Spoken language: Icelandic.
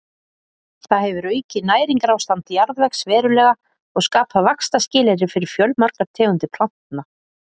Það hefur aukið næringarástand jarðvegs verulega og skapað vaxtarskilyrði fyrir fjölmargar tegundir plantna.